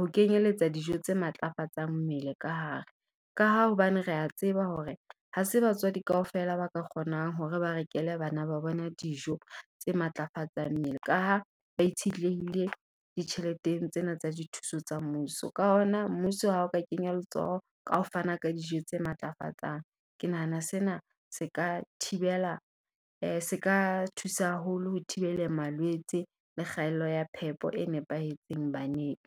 ho kenyeletsa dijo tse matlafatsang mmele ka hare. Ka ha hobane re a tseba hore ha se batswadi kaofela ba ka kgonang hore ba rekele bana ba bona dijo tse matlafatsang mmele, ka ha ba itshetlehile ditjheleteng tsena tsa dithuso tsa mmuso. Ka hona mmuso ha o ka kenya letsoho ka ho fana ka dijo tse matlafatsang, ke nahana sena se ka thibela se ka thusa haholo ho thibela malwetse le kgaello ya phepo e nepahetseng baneng.